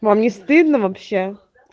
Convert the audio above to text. вам не стыдно вообще